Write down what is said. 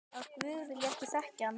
Að guð vilji ekki þekkja hann.